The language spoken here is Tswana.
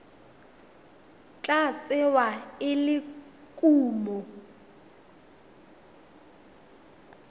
tla tsewa e le kumo